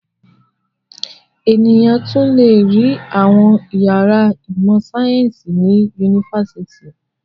Ènìyàn tún le rí àwọn ìyàrá ìmọ̀-sáyẹ́ńsì ní yunifásitì.